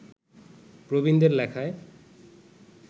প্রবীণদের লেখায়